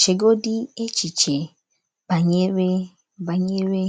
Chegodị echiche banyere banyere